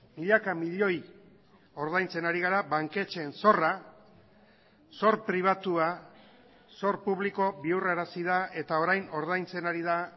milaka milioi ordaintzen ari gara banketxeen zorra zor pribatua zor publiko bihurrarazi da eta orain ordaintzen ari da